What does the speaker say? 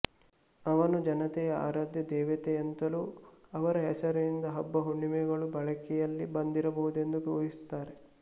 ಅವನು ಜನತೆಯ ಆರಾಧ್ಯ ದೇವತೆಯೆಂತಲೂ ಅವರ ಹೆಸರಿನಿಂದ ಹಬ್ಬ ಹುಣ್ಣಿಮೆಗಳು ಬಳಕೆಯಲ್ಲಿ ಬಂದಿರಬಹುದೆಂದೂ ಊಹಿಸುತ್ತಾರೆ